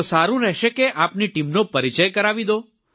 તો સારું રહેશે કે આપની ટીમનો પરિચય કરાવી દો